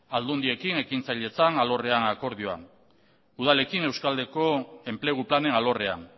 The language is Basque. aldundiekin ekintzailetzan alorrean akordioa udalekin euskaldeko enplegu planen alorrean